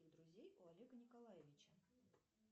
друзей у олега николаевича